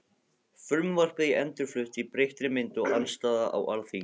Frumvarpið endurflutt í breyttri mynd- Andstaða á Alþingi